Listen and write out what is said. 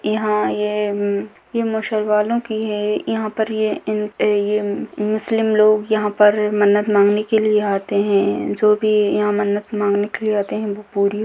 यहाँ ये मुसलमानो की हैं यहाँ पर ये मुस्लिम लोग यहाँ पर मन्नत माँगने के लिए आते हैं जो भी यहाँ मन्नत माँगने के लिए आते हैं वो पूरी --